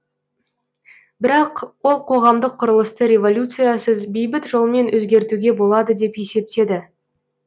бірақ ол қоғамдық құрылысты революциясыз бейбіт жолмен өзгертуге болады деп есептеді